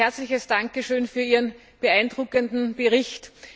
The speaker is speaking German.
Ein herzliches Dankeschön für Ihren beeindruckenden Bericht.